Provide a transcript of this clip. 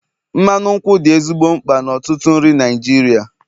mmanụ nkwụ dị ezigbo mkpa n'ọtụtụ nri Naijiria